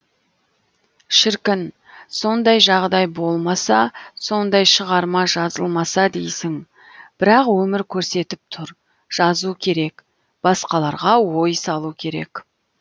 шіркін сондай жағдай болмаса сондай шығарма жазылмаса дейсің бірақ өмір көрсетіп тұр жазу керек басқаларға ой салу керек